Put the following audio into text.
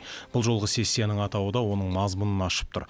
бұл жолғы сессияның атауы да оның мазмұнын ашып тұр